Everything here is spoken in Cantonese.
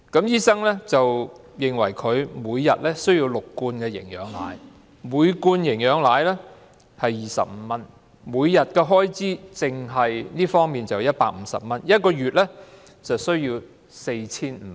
醫生認為她每天需要喝6罐營養奶，每罐營養奶需費25元，每天單是這方面的開支便要150元，每月需要 4,500 元。